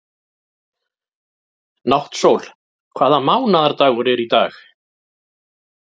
Náttsól, hvaða mánaðardagur er í dag?